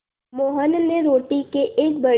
मोहन ने रोटी के एक बड़े